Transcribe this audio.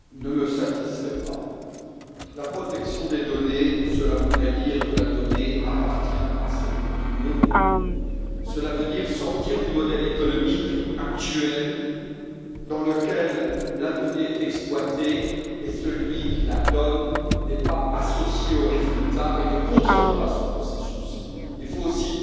Monsieur le Président, ce rapport ne me satisfait pas. La protection des données, cela voudrait dire que la donnée appartient à celui qui l'émet. Cela veut dire sortir du modèle économique actuel, dans lequel la donnée est exploitée et celui qui la fournit n'est pas associé aux résultats et ne contrôle pas son processus. Il faut aussi